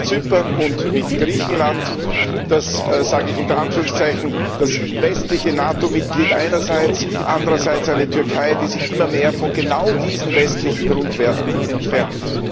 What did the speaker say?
Zypern und mit Griechenland, das ich sage das unter Anführungszeichen westliche NATO Mitglied einerseits, andererseits eine Türkei, die sich immer mehr von genau diesen westlichen Grundwerten entfernt.